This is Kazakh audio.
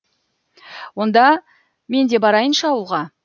онда мен де барайыншы ауылға